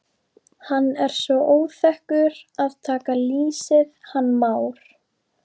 Hann er svo óþekkur að taka lýsið hann Már.